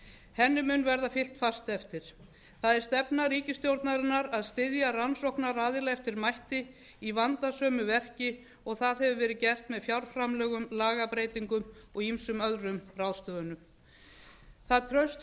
henni mun verða fylgt fast eftir það er stefna ríkisstjórnarinnar að styðja rannsóknaraðila eftir mætti í vandasömu verki og það hefur verið gert með fjárframlögum lagabreytingum og ýmsum öðrum ráðstöfunum það traust